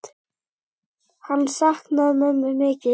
Hann saknaði mömmu mikið.